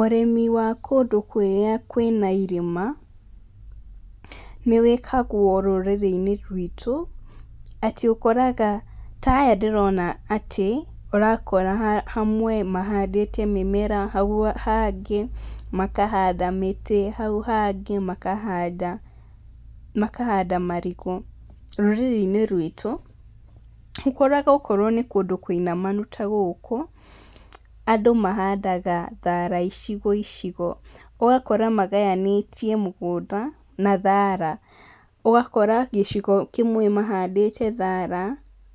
Ũrĩmi wa kũndũ kũrĩa kwĩna irĩma nĩ wĩragwo rũrĩrĩ-inĩ ruitũ atĩ ũkoraga, ta aya ndĩrona atĩ nĩ ũrakora hamwe mahandĩte mĩmera hau hangĩ makahanda mĩtĩ, hau hangĩ makahanda, makahanda marigũ, rũrĩrĩ-inĩ ruitũ, ũkoraga okorwo nĩ kũndũ kũinamanu ta gũkũ andũ mahanda thara icigo icigo, ũgakora maganĩtie mũgũnda na thara, ũgakora gĩcigo kĩmwe mahandĩte thara,